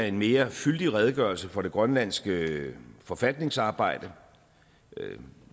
en mere fyldig redegørelse for det grønlandske forfatningsarbejde